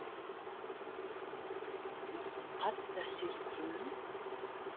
маған қатты әсер еткен не